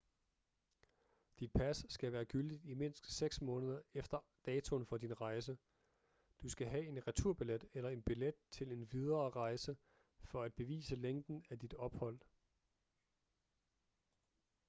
dit pas skal være gyldigt i mindst 6 måneder efter datoen for din rejse du skal have en returbillet eller en billet til en videre rejse for at bevise længden af dit ophold